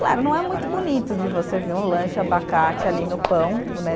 Claro, não é muito bonito de você ver um lanche abacate ali no pão, né?